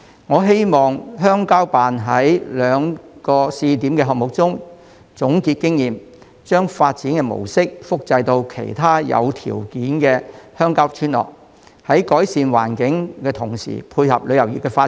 我希望鄉郊辦在兩個試點項目中總結經驗，將發展模式複製到其他有條件的鄉郊村落，改善環境同時配合旅遊業的發展。